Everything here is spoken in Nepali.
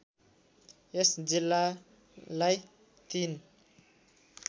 यस जिल्लालाई ३